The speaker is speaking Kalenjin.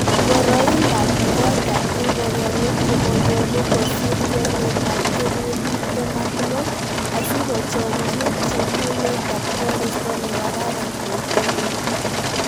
Boroindab got ab ingogenik komonyolu kosiir kwenetab kelyek tibtem ak mut, asikochomchi chutunetab koriisto ne kararan en kwenet.